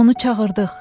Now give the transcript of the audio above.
Biz onu çağırdıq.